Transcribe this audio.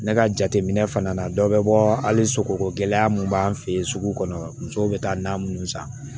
Ne ka jateminɛ fana na dɔ bɛ bɔ hali sogo gɛlɛya mun b'an fɛ yen sugu kɔnɔ musow bɛ taa na minnu san